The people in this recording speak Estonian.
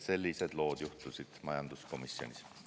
Sellised lood juhtusid majanduskomisjonis.